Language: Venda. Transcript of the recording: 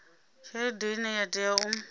tshelede ine ya tea u